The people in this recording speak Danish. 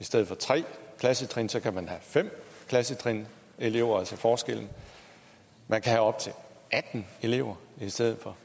i stedet for tre klassetrin kan man have fem klassetrin elever altså forskellen og man kan have op til atten elever i stedet for